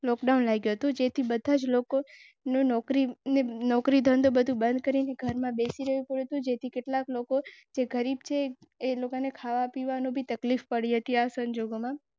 nine March two thousand twenty સુધીમાં રોગનો ફેલાવો છ ખંડોના.